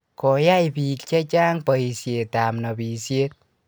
koyay biik chechang boishetab nobishet